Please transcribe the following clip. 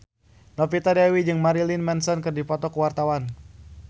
Novita Dewi jeung Marilyn Manson keur dipoto ku wartawan